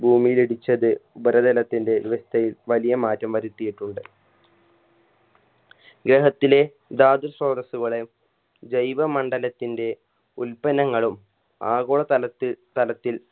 ഭൂമിയിലിടിച്ചത് ഉപരിതലത്തിൻറെ വ്യവസ്ഥയിൽ വലിയ മാറ്റം വരുത്തിയിട്ടുണ്ട് ഗ്രഹത്തിലെ ധാതു സ്രോതസ്സുകളെ ജൈവമണ്ഡലത്തിൻറെ ഉൽപ്പന്നങ്ങളും ആഗോളതലത്തിൽ തലത്തിൽ